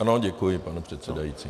Ano, děkuji, pane předsedající.